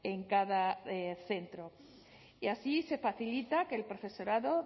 en cada centro y así se facilita que el profesorado